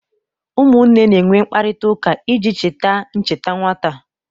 Ụmụnne na-enwe mkparịta ụka iji cheta ncheta nwata